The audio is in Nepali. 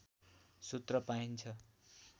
सूत्र पाइन्छ